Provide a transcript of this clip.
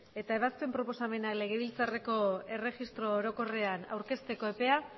eta ebazpen proposamena legebiltzarreko erregistro orokorrean aurkezteko epea